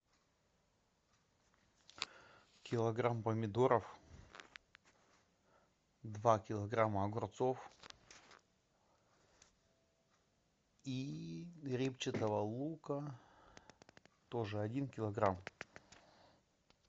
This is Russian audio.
килограмм помидоров два килограмма огурцов и репчатого лука тоже один килограмм